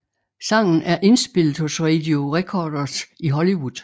Sangen er indspillet hos Radio Recorders i Hollywood